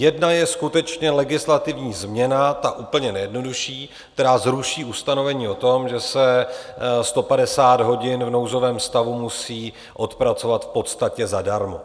Jedno je skutečně legislativní změna, ta úplně nejjednodušší, která zruší ustanovení o tom, že se 150 hodin v nouzovém stavu musí odpracovat v podstatě zadarmo.